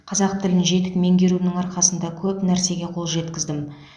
қазақ тілін жетік меңгеруімнің арқасында көп нәрсеге қол жеткіздім